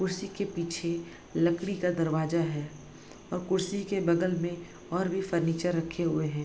कुर्सी के पीछे लकड़ी का दरवाजा है और कुर्सी के बगल में और भी फर्नीचर रखे हुए हैं।